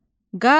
Qanat.